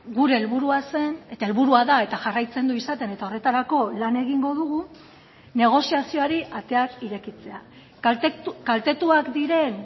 gure helburua zen eta helburua da eta jarraitzen du izaten eta horretarako lan egingo dugu negoziazioari ateak irekitzea kaltetuak diren